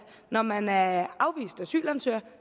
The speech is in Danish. når man er afvist asylansøger